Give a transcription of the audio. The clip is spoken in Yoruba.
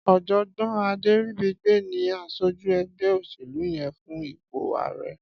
Ọjọgbọn Aderibigbe ni àṣójú ẹgbẹ óṣélú yèn fún ipó àárẹ̀